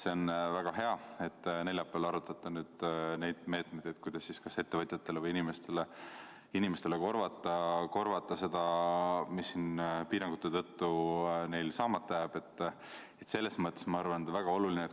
See on väga hea, et te neljapäeval arutate meetmeid, kuidas ettevõtjatele ja inimestele korvata seda, mis neil piirangute tõttu saamata jääb.